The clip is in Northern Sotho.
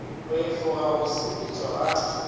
go efoga go sepetšwa ga